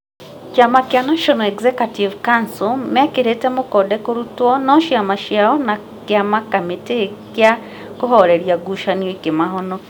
Kĩama kĩa National Executive Council mĩkĩrĩtĩ mokonde kũrutwo no ciama ciao na kĩama kamĩtĩ gĩa kũhũreria ngucanio ikĩmahonokia.